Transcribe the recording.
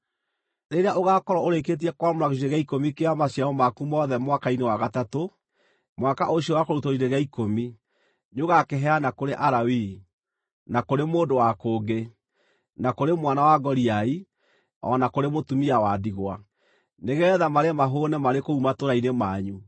Rĩrĩa ũgaakorwo ũrĩkĩtie kwamũra gĩcunjĩ gĩa ikũmi kĩa maciaro maku mothe mwaka-inĩ wa gatatũ, mwaka ũcio wa kũrutwo gĩcunjĩ gĩa ikũmi, nĩũgakĩheana kũrĩ Alawii, na kũrĩ mũndũ wa kũngĩ, na kũrĩ mwana wa ngoriai, o na kũrĩ mũtumia wa ndigwa, nĩgeetha marĩe mahũũne marĩ kũu matũũra-inĩ manyu.